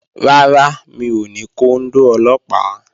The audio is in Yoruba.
Rárá, mi ò ní kóndó Ọlọ́pàá